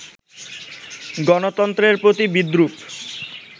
গণতন্ত্রের প্রতি বিদ্রুপ